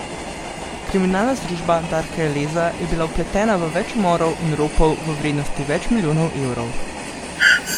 Kriminalna združba Darka Eleza je bila vpletena v več umorov in ropov v vrednosti več milijonov evrov.